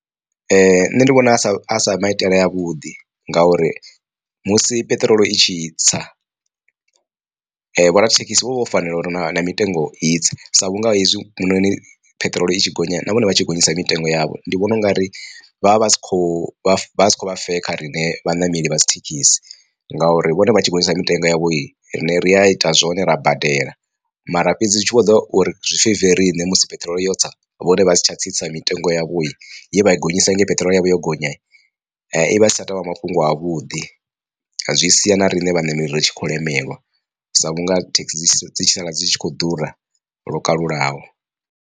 Nṋe ndi vhona sa sa maitele a vhuḓi ngauri musi peṱirolo i tshi tsa vhoradzithekhisi vho vha vho fanela uri na mitengo itse sa vhunga hezwi noni peṱirolo i tshi gonya na vhone vha tshi gonyisa mitengo yavho ndi vhona ungari vhavha vha si kho vha si kho vha fair kha riṋe vhaṋameli vha dzi thekhisi ngauri vhone vha tshi gonyisa mitengo yavho i rine ri a ita zwone ra badela, mara fhedzi zwi tshi vho ḓa uri zwi feive riṋe musi peṱirolo ya tsa vhone vha si tsha tsitsa mitengo yavho ye vha i gonyisa hangei peṱirolo yavho yo gonya i vha isi tsha tovha mafhungo a vhuḓi. Zwi sia na riṋe vhaṋameli ri tshi khou lemelwa sa vhunga thekhisi dzi tshi sala dzi tshi khou ḓura lwo kalulaho.